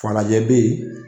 Falajɛ bɛ ye.